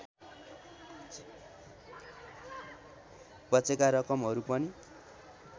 बचेका रकमहरू पनि